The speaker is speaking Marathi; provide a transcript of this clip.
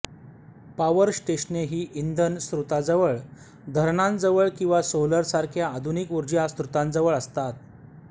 पॉवर स्टेशने ही इंधन स्रोताजवळ धरणांजवळ किंवा सोलरसारख्या आधुनिक ऊर्जा स्रोतांजवळ असतात